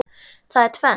Það er tvennt.